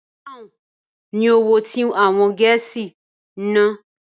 Pọ́ùn ni owó tí àwọn Gẹ̀ẹ́sì ń ná.